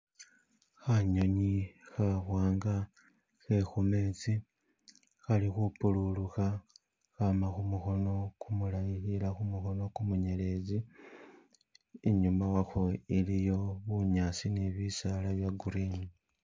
Khanyunyi khawanga khakhu metsi khali khupululukha khama khumukono kumulayi khela khumukono kumunyelezi inyuma wakho iliyo bunyasi ni bisaala bya green